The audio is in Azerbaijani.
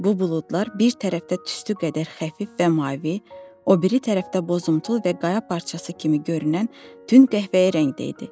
Bu buludlar bir tərəfdə tüstü qədər xəfif və mavi, o biri tərəfdə bozumtul və qaya parçası kimi görünən tünd qəhvəyi rəngdə idi.